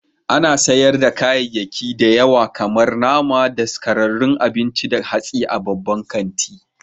Ana sayar da kayayyaki da yawa kamar nama, daskararrun abinci da hatsi a babban kanti.